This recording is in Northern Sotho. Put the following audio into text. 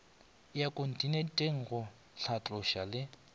ya kontinente go hlatloša le